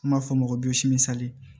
An b'a fɔ mɔgɔ bisimi